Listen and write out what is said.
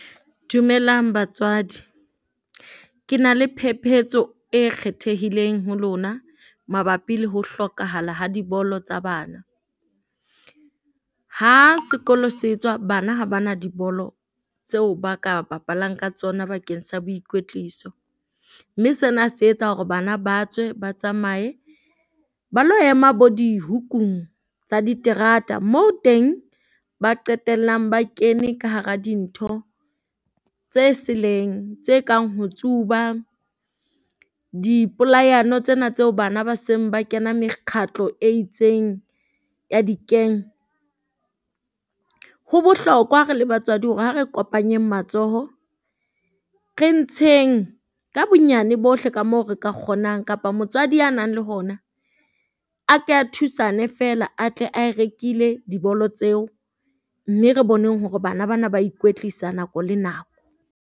Dumelang batswadi, ke na le phepetso e kgethehileng ho lona mabapi le ho hlokahala ha dibolo tsa bana. Ha sekolo se bana ha bana dibolo tseo ba ka bapalang ka tsona bakeng sa boikwetliso, mme sena se etsa hore bana ba tswe ba tsamae ba lo ema bo dihukung tsa diterata moo teng ba qetellang ba kene ka hara dintho tse seleng tse kang ho tsuba. Di polayano tsena tseo bana ba seng ba kena mekgatlo e itseng ya di gang, ho bohlokwa re le batswadi hore ha re kopanyeng matsoho. Re ntsheng ka bonyane bohle ka moo re ka kgonang kapa motswadi a nang le hona. A ke a thusane feela a tle a e rekile dibolo tseo. Mme re boneng hore bana bana ba ikwetlisa nako le nako.